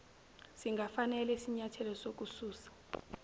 singafanele isinyathelo sokususa